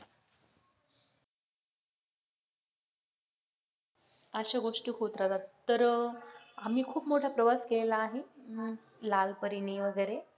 अशा गोष्टी होत राहतात तर आम्ही खूप मोठा प्रवास केलेला आहे हम्म लाल परीने वगैरे.